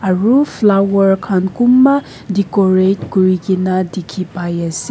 aru flower khan kunba decorate kuri ke na dikhi pai ase.